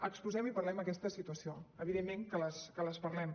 exposem i parlem d’aquesta situació evidentment que en parlem